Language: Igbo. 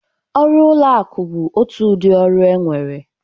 Ọrụ ụlọ akụ bụ otu udị ọrụ enwere.